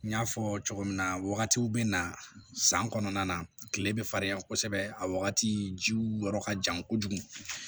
N y'a fɔ cogo min na wagatiw bɛ na san kɔnɔna na kile bɛ farin yan kosɛbɛ a wagati jiw yɔrɔ ka jan kojugu